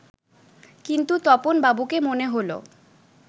কিন্তু তপন বাবুকে মনে হলো